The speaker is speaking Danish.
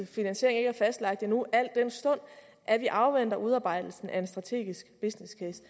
finansiering ikke er fastlagt endnu al den stund at vi afventer udarbejdelsen af en strategisk business case